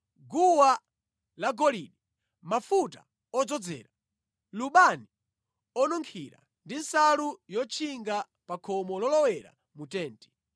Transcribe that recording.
guwa lagolide, mafuta odzozera, lubani onunkhira ndi nsalu yotchinga pa khomo lolowera mu tenti;